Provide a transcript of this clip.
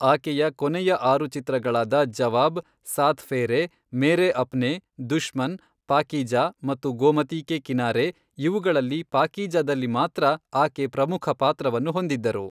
ಆಕೆಯ ಕೊನೆಯ ಆರು ಚಿತ್ರಗಳಾದ ಜವಾಬ್, ಸಾತ್ ಫೇರೇ, ಮೇರೇ ಅಪ್ನೇ, ದುಶ್ಮನ್, ಪಾಕೀಜಾ ಮತ್ತು ಗೋಮತಿ ಕೇ ಕಿನಾರೇ ಇವುಗಳಲ್ಲಿ ಪಾಕೀಜಾದಲ್ಲಿ ಮಾತ್ರ ಆಕೆ ಪ್ರಮುಖ ಪಾತ್ರವನ್ನು ಹೊಂದಿದ್ದರು.